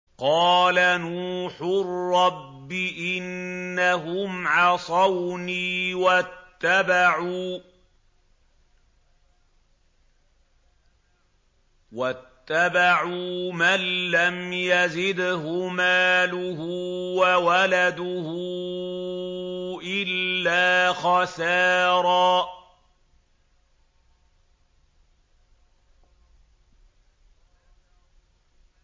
قَالَ نُوحٌ رَّبِّ إِنَّهُمْ عَصَوْنِي وَاتَّبَعُوا مَن لَّمْ يَزِدْهُ مَالُهُ وَوَلَدُهُ إِلَّا خَسَارًا